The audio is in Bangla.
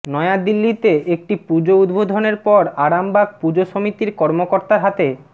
নয়া দিল্লিতে একটি পুজো উদ্বোধনের পর আরামবাগ পুজো সমিতির কর্মকর্তার হাতে